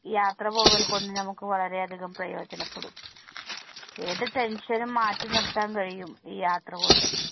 യാത്ര പോവൽ കൊണ്ട് നമുക്ക് വളരെ അധികം പ്രയോജനപ്പെടും. ഏതു tension നും മാറ്റി നിർത്താൻ കഴിയും ഈ യാത്ര കൊണ്ട്.